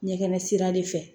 Ɲɛkɛnɛ sira de fɛ